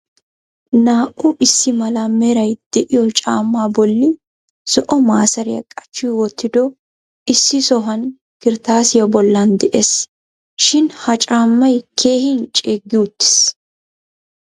Naa"u issi mala meray de'iyo caamma bolli zo'o maaseriya qachchi wottidoohe issi sohuwan kirttaasiyaa bollan de'ees. Shin ha caammay keehin ceeggi uttiis.